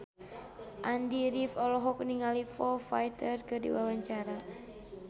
Andy rif olohok ningali Foo Fighter keur diwawancara